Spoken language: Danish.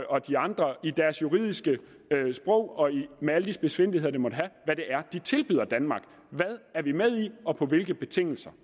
og de andre med deres juridiske sprog og med alle de spidsfindigheder det måtte have tilbyder danmark hvad er vi med i og på hvilke betingelser